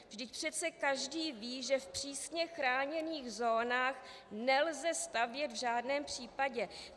Vždyť přesně každý ví, že v přísně chráněných zónách nelze stavět v žádném případě.